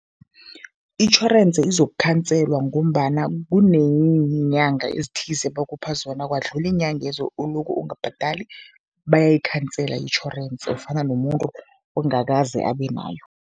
Itjhorense izokukhanselwa ngombana kuneenyanga ezithize bakupha zona, kwadlula iinyanga lezo ulokho ungabhadali, bayayikhansela itjhorensi, ufana nomuntu ongakaze abe nayo.